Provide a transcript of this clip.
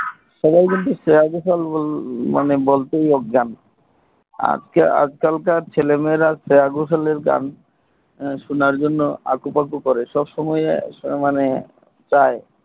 সবাই বলতে শ্রেয়া ঘোষাল বল বলতেই অজ্ঞান আজ কাল ছেলেমেয়েরা শ্রেয়া ঘোষাল আর গান সোনার জন্য আকু পাকু করে সবসময় মানে চাই